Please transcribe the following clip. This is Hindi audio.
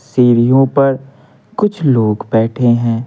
सीढ़ियों पर कुछ लोग बैठे हैं।